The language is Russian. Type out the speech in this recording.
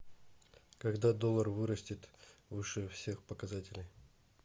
когда доллар вырастет выше всех показателей